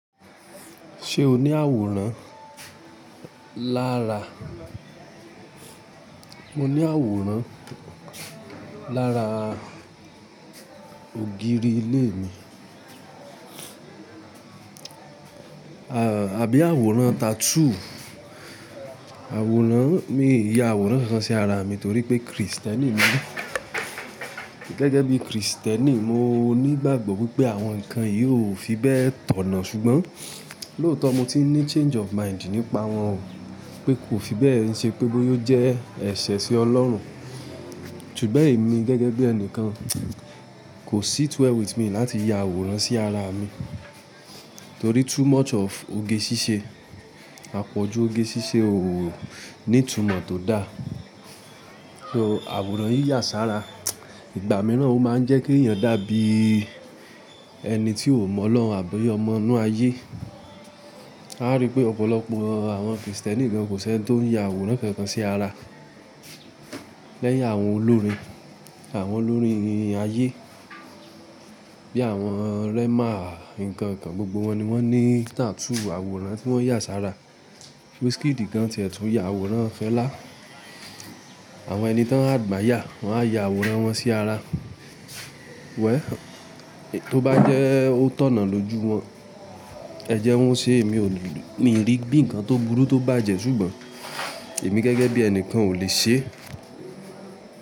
Ṣé o ní àwòrán lára? Mo ní àwòrán lára ògiri ilé mi. Àbí àwòrán tattoo? Àwòrán, mi i ya àwòrán kankan sí ara mi torí pé Kristẹni ni mi. Gẹ́gẹ́ bií Kristẹni, mo nígbàgbọ́ wípé àwọn ǹkan yìí ò fi bẹ́ẹ̀ tọ̀nà ṣùgbọ́n lóòtọ́ mo ti n ní change of mind nípa wọn pé kò fi bẹ́ẹ̀ n ṣe pé bóya ò jẹ́ ẹ̀ṣẹ̀ sí Ọlọ́run. Ṣùgbọ́n èmi gẹ́gẹ́ bí ẹnìkan kò sit well with me láti ya àwòrán sí ara mi torí too much of oge ṣíṣe. Apọ̀ju oge ṣíṣe ò nítumọ̀ tó daá. So àwòrán yíyà sára, ìgbà mìíràn ó máa ń jẹ́ keeyàn dàbí ẹni tí ó mọ́lohun àbí ọmọ inú ayé. A rí pé ọ̀pọ̀lọpọ̀ àwọn Kristẹni gan kò seni tó ń ya àwòrán kankan sí ara. Lẹ́yìn àwọn olórin, àwọn olórin ayé bí i àwọn Rema nǹkan kan gbogbo wọn ni wọ́n ní tattoo àwòrán tí wọ́n yà sára. Wizkidì gan tiẹ̀ tún ya àwòrán fẹ́lá. Àwọn ẹni tọ́n admire wọ́n á ya àwòrán wọn sí ara. Well, tó bá jẹ́ ó tọ̀nà lójú wọn, ẹ jẹ́ wọ́n o ṣe, èmi ò l, mi i rí bí ǹkan tó burú tó bájẹ ṣùgbọ́n èmi gẹ́gẹ́ bí ẹnikan ò lè ṣe é.